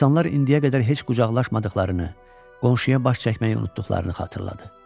İnsanlar indiyə qədər heç qucaqlaşmadıqlarını, qonşuya baş çəkməyi unutduqlarını xatırladı.